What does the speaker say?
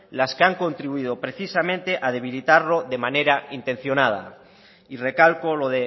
las que han contribuido precisamente a debilitarlo de manera intencionada y recalco lo